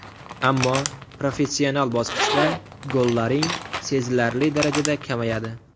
Ammo professional bosqichda gollaring sezilarli darajada kamayadi.